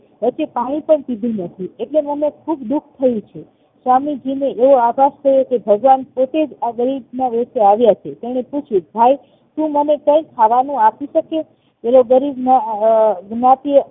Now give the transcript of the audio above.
હેતે પાણી પણ પીધું નથી એટલે મને ખુબ દુઃખ થયું છે સ્વામીજીને એવો આભાસ થયો કે ભગવાન પોતેજ આ ગરીબ ના વેસે આવ્યા છે તેણે પૂછ્યું ભાઈ તું મને કઈ ખાવાનું આપીશકે એ ગરીબ ના નાતે